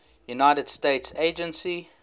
united states agency